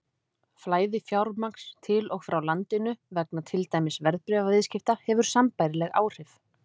Flæði fjármagns til og frá landinu vegna til dæmis verðbréfaviðskipta hefur sambærileg áhrif.